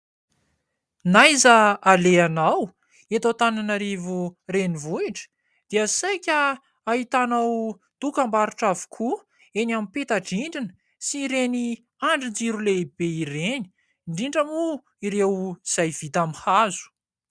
Na aiza alehanao eto Antaninarivo renivohitra dia saika ahitanao dokam-barotra avokoa eny amin'ny peta-drindrina sy ireny andron-jiro lehibe ireny indrindra moa ireo izay vita amin'ny hazo.